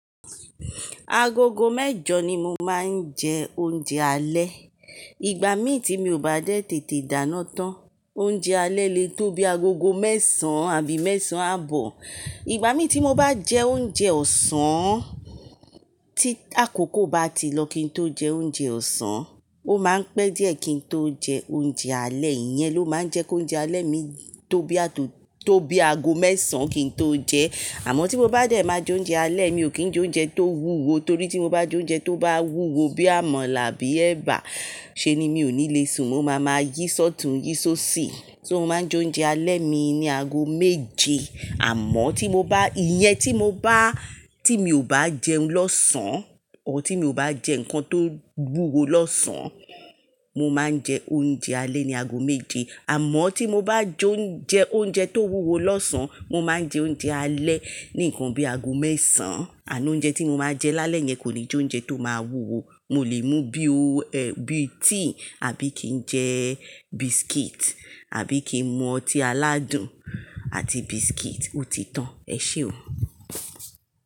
Agogo mẹ́jọ ni mo máa ń jẹ oúnjẹ alẹ́. Ìgbà mín tí mi ò bá dẹ́ tètè dáná tán, oúnjẹ alẹ́ lè tó bí agogo mẹ́sàn àbí mẹ́sàn àbọ̀. Ìgbà mín tí mo bá jẹ oúnjẹ ọ̀sán, tí akoko bá ti lọ kí n tó jẹ oúnjẹ ọ̀sán, ó máa ń pẹ́ díẹ̀ kí n tó jẹ oúnjẹ alẹ́. Iyẹn ló máa ń jẹ́ kó oúnjẹ alẹ́ mi tó bí ago mẹ́sàn kí n tó jẹ Àmọ́ tí mo bá dẹ̀ máa jẹ oúnjẹ alẹ́, mi ò kí ń jẹ oúnjẹ tó wúwo torí tí mo bá jẹ oúnjẹ tó bá wúwo bí àmala àbí ẹba, ṣe ni mi ò ní le sùn. Mo máa máa yí ṣótùn, yí ṣó ṣì. So mo máa ń jẹ oúnjẹ alẹ́ mi ní ago méje. Àmọ́ tí mo bá, iyen tí mo bá, tí mi ò bá jẹun lọ́sàn, or tí mi ò bá jẹ nǹkan tó wúwo lọ́sàn, mo máa ń jẹ oúnjẹ alẹ́ ní ago méje. Àmọ́ tí mo bá jẹ oúnjẹ tó wúwo lọ́sàn, mo máa ń jẹ oúnjẹ alẹ́ ní nǹkan bí ago mẹ́sàn. Àná oúnjẹ tí mo máa jẹ lálẹ́ yẹn kò ní jẹ oúnjẹ tó máa wúwo. Mo lè mu bí tea àbí kí n jẹ biscuit àbí kí n mu ọtí aládùn àti biscuit, ó ti tán. Ẹ ṣé o.